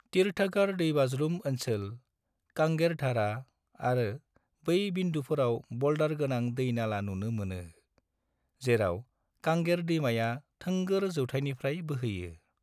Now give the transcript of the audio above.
तीरथगढ़ दैबाज्रुम ओनसोल, कांगेर धारा आरो बै बिन्दुफोराव ब'ल्डार गोनां दै नाला नुनो मोनो, जेराव कांगेर दैमाया थोंगोर जौथायनिफ्राय बोहैयो।